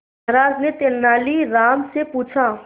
महाराज ने तेनालीराम से पूछा